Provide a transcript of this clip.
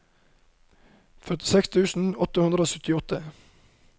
førtiseks tusen åtte hundre og syttiåtte